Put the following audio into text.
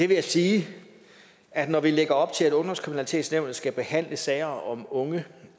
vil jeg sige at når vi lægger op til at ungdomskriminalitetsnævnet skal behandle sager om unge